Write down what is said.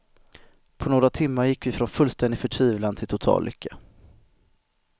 På några timmar gick vi från fullständig förtvivlan till total lycka.